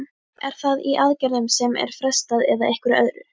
Er það í aðgerðum sem er frestað eða einhverju öðru?